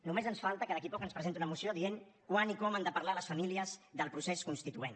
només ens falta que d’aquí a poc ens presentin una moció dient quan i com han de parlar les famílies del procés constituent